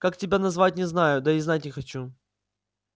как тебя назвать не знаю да и знать не хочу